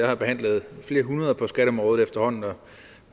har behandlet flere hundrede forslag på skatteområdet og